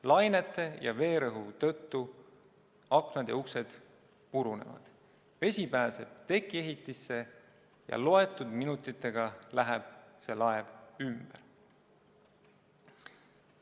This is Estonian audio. Lainete ja veerõhu tõttu aknad ja uksed purunevad, vesi pääseb tekiehitisse ja mõne minutiga läheb see laev ümber.